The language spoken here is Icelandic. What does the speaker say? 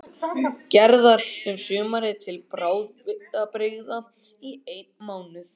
Gerðar um sumarið- til bráðabirgða í einn mánuð.